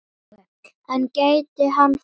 En gæti hann farið þangað?